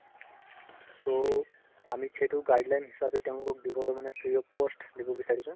ত আমি সেইটো guideline হিচাপে তেওঁলোকক দিবলৈ free of cost দিব বিচাৰিছো